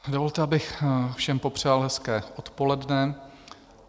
Dovolte, abych všem popřál hezké odpoledne.